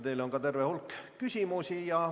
Teile ongi terve hulk küsimusi.